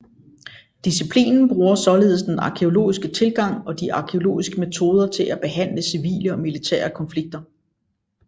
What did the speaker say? Disciplinen bruger således den arkæologiske tilgang og de arkæologiske metoder til at behandle civile og militære konflikter